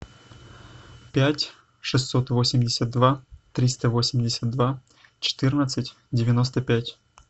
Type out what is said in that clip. пять шестьсот восемьдесят два триста восемьдесят два четырнадцать девяносто пять